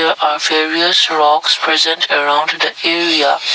a various rocks present around the area.